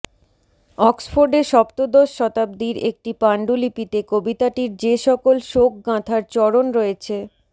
অক্সফোর্ডে সপ্তদশ শতাব্দীর একটি পান্ডুলিপিতে কবিতাটির যেসকল শোক গাঁথার চরণ রয়েছেঃ